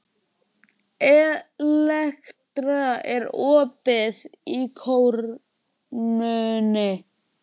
Elektra, er opið í Krónunni?